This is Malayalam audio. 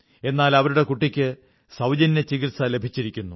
എന്നാൽ അവരുടെ കുട്ടിക്ക് സൌജന്യ ചികിത്സ ലഭിച്ചിരിക്കുന്നു